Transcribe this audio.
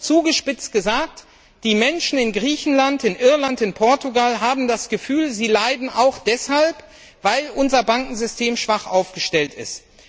Zugespitzt gesagt Die Menschen in Griechenland, Irland und Portugal haben das Gefühl, sie leiden auch deshalb, weil unser Bankensystem schwach aufgestellt ist.